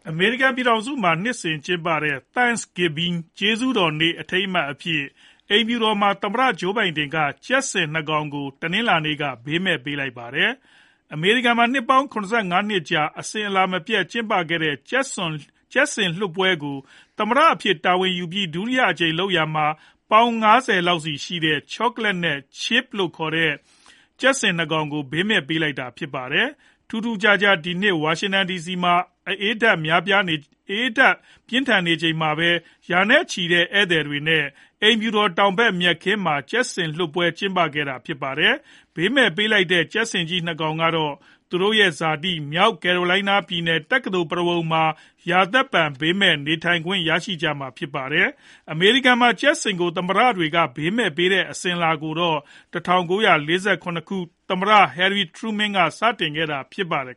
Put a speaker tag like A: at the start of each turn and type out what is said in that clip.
A: အမေရိကန် ပြည်ထောင်စုမှာ နှစ်စဉ်ကျင်းပတဲ့ Thanksgiving ကျေးဇူးတော်နေ့ အထိမ်းအမှတ်အဖြစ် အိမ်ဖြူတော်မှာ သမ္မတ Joe Biden က ကြက်ဆင် ၂ ကောင် ကို တနင်္လာနေ့က ဘေးမဲ့ပေးလိုက်ပါတယ်။ အမေရိကန်မှာ နှစ်ပေါင်း ၇၅ နှစ်ကြာ အစဉ်အလာမပျက် ကျင်းပခဲ့တဲ့ ကြက်ဆင်လွှတ်ပွဲကို သမ္မတအဖြစ် တာဝန်ယူပြီး ဒုတိယအကြိမ်လုပ်ရာမှာ ပေါင် ၅၀ လောက်စီရှိတဲ့ Chocolate နဲ့ Chip လို့ခေါ်တဲ့ ကြက်ဆင် ၂ ကောင်ကို ဘေးမဲ့ပေးလိုက်တာပါ။ ထူးထူးခြားခြား ဒီနှစ် ဝါရှင်တန်ဒီစီမှာ အအေးဓာတ်များနေချိန်မှာပဲ ရာနဲ့ချီတဲ့ ဧည့်သည်တွေနဲ့ အိမ်ဖြူတော် တောင်ဖက် မြက်ခင်းမှာ ကြက်ဆင်လွှတ်ပွဲ ကျင်းပခဲ့တာလည်း ဖြစ်ပါတယ်။ ဘေးမဲ့ဘေးလိုက်တဲ့ ကြက်ဆင်ကြီး ၂ ကောင်ကတော့ သူတို့ဇာတိ မြောက်ကယ်ရိုလိုင်းနား ပြည်နယ် တက္ကသိုလ် ပုရဝဏ်မှာ ရာသက်ပန် ဘေးမဲ့ နေထိုင်ခွင့် ရကြမှာ ဖြစ်ပါတယ်။၊ အမေရိကန်မှာ ကြက်ဆင်တွေကို သမ္မတတွေက ဘေးမဲ့ပေးတဲ့ အစဉ်အလာကိုတော့ ၁၉ ၄၇ ခုနှစ် သမ္မတ Harry Truman က စခဲ့တာဖြစ်ပါတယ်